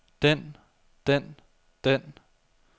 den den den